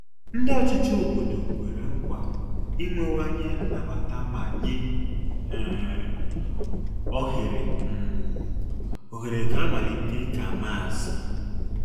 Ndị ọchịchị obodo kwere nkwa inwewanye nnabata ma nye um ohere um ohere ka amalite ịka Maasị